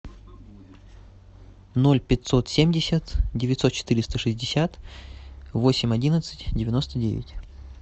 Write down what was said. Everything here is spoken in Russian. ноль пятьсот семьдесят девятьсот четыреста шестьдесят восемь одиннадцать девяносто девять